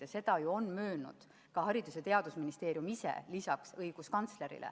Lisaks õiguskantslerile on seda möönnud ka Haridus- ja Teadusministeerium.